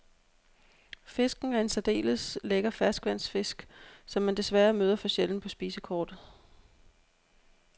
Fisken er en særdeles lækker ferskvandsfisk, som man desværre møder for sjældent på spisekortet.